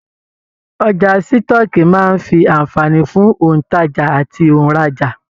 Ọjà sitọ̀ọ́kíi máa n fí anfààní fún ontaja àti onraja.